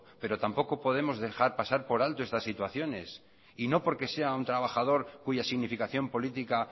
pero tampoco podemos dejar pasar por alto estas situaciones y no porque sea un trabajador cuya significación política